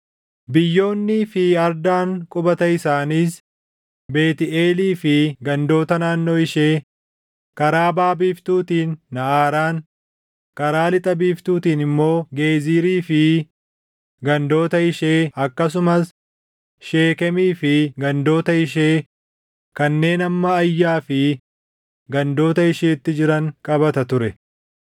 Biyyoonnii fi ardaan qubata isaaniis Beetʼeelii fi gandoota naannoo ishee, karaa baʼa biiftuutiin Naʼaraan, karaa lixa biiftuutiin immoo Geezirii fi gandoota ishee akkasumas Sheekemii fi gandoota ishee kanneen hamma Ayyaa fi gandoota isheetti jiran qabata ture.